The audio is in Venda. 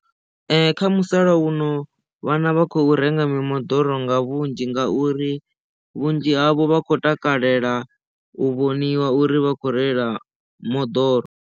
Kha musalauno vhana vha khou renga mimoḓoro nga vhunzhi ngauri vhunzhi havho vha khou takalela u vhoniwa uri vha khou reila moḓoro.